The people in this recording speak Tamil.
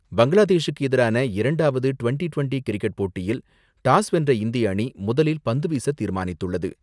பங்களாதேசுக்கு எதிரான இரண்டாவது டிவென்டி டிவென்டி கிரிக்கெட் போட்டியில் டாஸ் வென்ற இந்திய அணி முதலில் பந்து வீச தீர்மானித்துள்ளது.